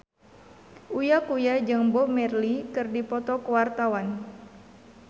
Uya Kuya jeung Bob Marley keur dipoto ku wartawan